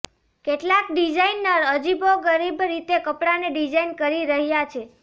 કેટલાક ડિઝાઇનર અજીબોગરીબ રીતે કપડાને ડિઝાઇન કરી રહ્યા છે